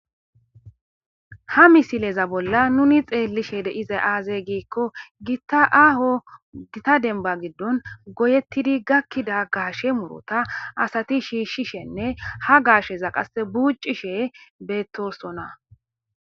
ha misileza bolla nuni xeellishe dize aazey giikko gitaaho gita denba giddon goyettidi gakkida gaashe murota asati shiishshishenne ha gaasheza qas buucishe beettossona